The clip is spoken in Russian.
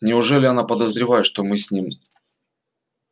неужели она подозревает что мы с ним